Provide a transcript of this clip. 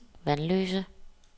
Vanløse